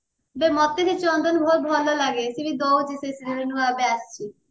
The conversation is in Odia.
ବେ ମତେ ସେ ଚନ୍ଦନ ବହୁତ ଭଲ ଲାଗେ ସେ ବି ଦଉଛି ସେ serial ନୂଆ ଏବେ ଆସିଛି